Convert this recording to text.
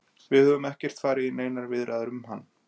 Við höfum ekkert farið í neinar viðræður um hann.